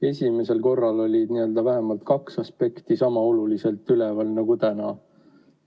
Esimesel korral oli vähemalt kaks aspekti sama olulisena üleval nagu täna.